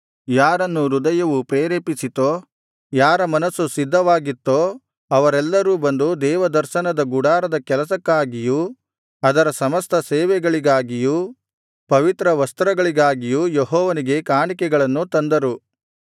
ಯಾರನ್ನು ಹೃದಯವು ಪ್ರೇರೇಪಿಸಿತೋ ಯಾರ ಮನಸ್ಸು ಸಿದ್ಧವಾಗಿತ್ತೋ ಅವರೆಲ್ಲರೂ ಬಂದು ದೇವದರ್ಶನದ ಗುಡಾರದ ಕೆಲಸಕ್ಕಾಗಿಯೂ ಅದರ ಸಮಸ್ತ ಸೇವೆಗಳಿಗಾಗಿಯೂ ಪವಿತ್ರ ವಸ್ತ್ರಗಳಿಗಾಗಿಯೂ ಯೆಹೋವನಿಗೆ ಕಾಣಿಕೆಗಳನ್ನು ತಂದರು